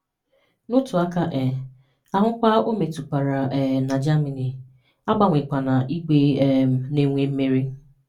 N'otu aka um ahụkwa o metụtakwara um na Germany, agbanwekwana igwe um na-enwe mmeri.